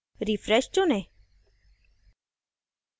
refresh चुनें